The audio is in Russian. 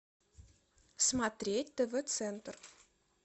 смотреть тв центр